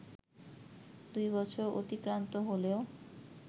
দুই বছর অতিক্রান্ত হলেও